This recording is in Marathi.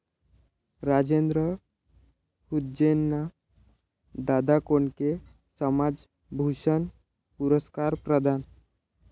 राजेंद्र हुंजेंना दादा कोंडके समाजभूषण पुरस्कार प्रदान